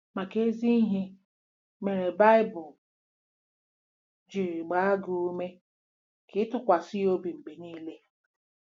Maka ezi ihe mere, Baịbụl ji gbaa gị ume ka ị ‘ tụkwasị ya obi mgbe niile...